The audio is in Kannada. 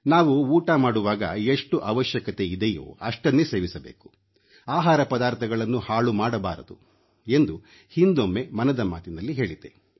ನಾವು ಊಟ ಮಾಡುವಾಗ ಎಷ್ಟು ಅವಶ್ಯಕತೆಯಿದೆಯೋ ಅಷ್ಟನ್ನೇ ಸೇವಿಸಬೇಕು ಆಹಾರ ಪದಾರ್ಥಗಳನ್ನು ಹಾಳು ಮಾಡಬಾರದು ಎಂದು ಹಿಂದೊಮ್ಮೆ ಮನದ ಮಾತಿನಲ್ಲಿ ಹೇಳಿದ್ದೆ